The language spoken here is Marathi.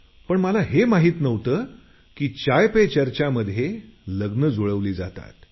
पण मला हे माहित नव्हतं की चाय पे चर्चा मध्ये लग्न जुळवली जातात